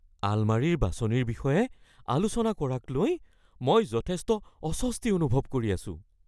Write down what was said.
আলমাৰীৰ বাছনিৰ বিষয়ে আলোচনা কৰাক লৈ মই যথেষ্ট অস্বস্তি অনুভৱ কৰি আছোঁ।